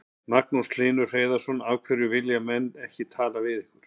Magnús Hlynur Hreiðarsson: Af hverju vilja menn ekki tala við ykkur?